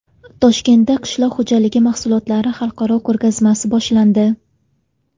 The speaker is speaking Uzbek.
Toshkentda qishloq xo‘jalik mahsulotlari xalqaro ko‘rgazmasi boshlandi.